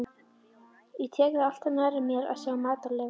Ég tek það alltaf nærri mér að sjá matarleifar.